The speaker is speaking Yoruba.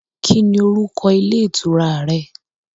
Kí ni orúkọ ilé ìtura rẹ